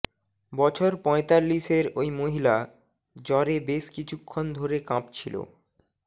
বছর পঁয়তাল্লিশের ওই মহিলা জ্বরে বেশ কিছুক্ষণ ধরে কাঁপছিল